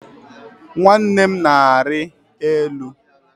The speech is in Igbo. Nwanne m na-arị elu